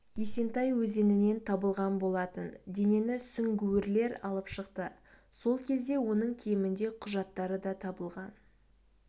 есентай өзенінен табылған болатын денені сүңгуірлер алып шықты сол кезде оның киімінде құжаттары да табылған